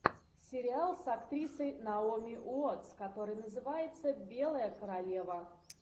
сериал с актрисой наоми уотс который называется белая королева